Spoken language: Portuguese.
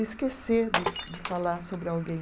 Esquecer de de falar sobre alguém.